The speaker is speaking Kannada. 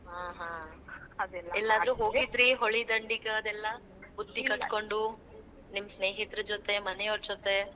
ಹಾ ಹಾ. ಎಲ್ಲಾದ್ರೂ ಹೋಗಿದ್ರಿ ಹೊಳಿ ದಂಡೀಗ್ ಅದೆಲ್ಲಾ ಕಟ್ಕೊಂಡು ನಿಮ್ ಸ್ನೇಹಿತರ ಜೊತೆ, ಮನೆಯವ್ರ ಜೊತೆ.